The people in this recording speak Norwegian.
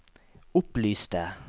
opplyste